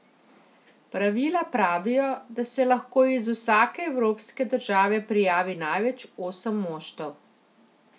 Pravila pravijo, da se lahko iz vsake evropske države prijavi največ osem moštev.